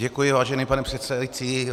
Děkuji, vážený pane předsedající.